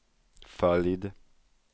följd